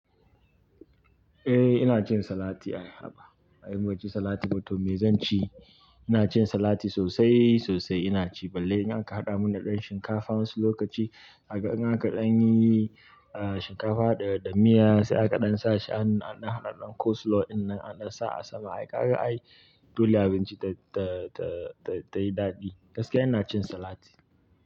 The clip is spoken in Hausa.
Eh ina cin salati ai haba. Ai in ban ci salati ba to me zan ci. Ina cin salati sosai sosai ina ci balle in aka haɗa mana ɗan shinkafa wasu lokaci, kaga in aka ɗan yi shinkafa da, da miya sai aka ɗan sa shi an ɗan haɗa ɗan coleslaw dinnan aka ɗan sa a sama aika aka ayi dole abinci ta, ta, ta, ta yi daɗi. Gaskiya ina cin salati.